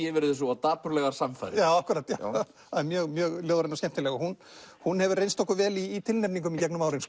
yfir þessu og dapurlegar samfarir já akkúrat mjög mjög ljóðræn og skemmtileg og hún hún hefur reynst okkur vel í tilnefningum í gegnum árin